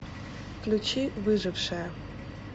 включи выжившая